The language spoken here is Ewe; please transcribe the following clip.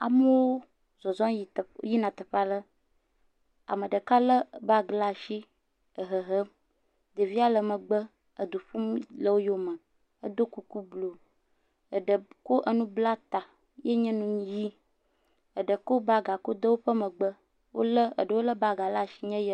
Amewo zɔzɔ yi teƒ yina teƒe aɖe, ame ɖeka lé baagi laa ashi ehehem. Ɖevia le megbe edu ƒum le woyome. Edo kuku bluu. Eɖe kɔ enu bla ta ye nye nu yi. Eɖe kɔ bagaa kɔ de woƒe megbe. Wolé, eɖewo lé bagaa laa shi nye ye.